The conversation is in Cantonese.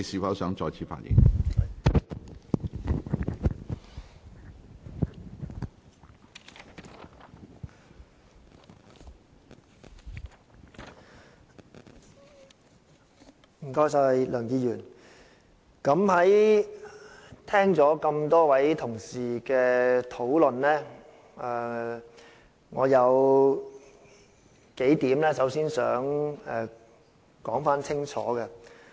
梁議員，聽過多位同事的討論，我首先想說清楚數點。